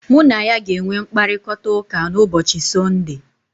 Mụ na ya ga-enwe mkparịkọtaụka na ụbọchị Sunday.